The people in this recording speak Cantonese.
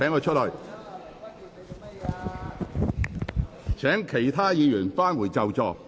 請各位議員返回座位。